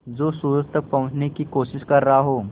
जो सूरज तक पहुँचने की कोशिश कर रहा हो